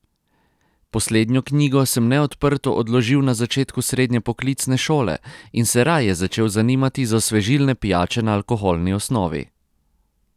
Poslednjo knjigo sem neodprto odložil na začetku srednje poklicne šole in se raje začel zanimati za osvežilne pijače na alkoholni osnovi.